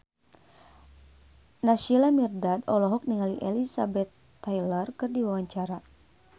Naysila Mirdad olohok ningali Elizabeth Taylor keur diwawancara